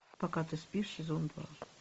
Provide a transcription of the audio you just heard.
пока ты спишь сезон два